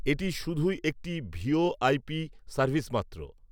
এটি শুধুই একটি ভিওআই সার্ভিস মাত্র